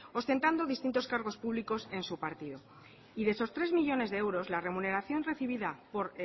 ostentando distintos cargos públicos en su partido y de esos tres millónes de euros la remuneración recibida por